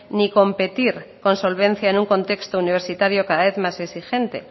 ni competir con solvencia en un contexto universitario cada vez más exigente